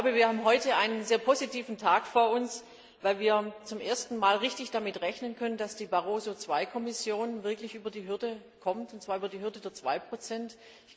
Wir haben heute einen sehr positiven Tag vor uns, weil wir zum ersten Mal wirklich damit rechnen können, dass die Barroso II Kommission tatsächlich über die 2 Hürde kommt.